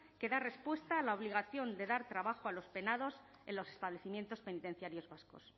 que da respuesta a la obligación de dar trabajo a los penados en los establecimientos penitenciarios vascos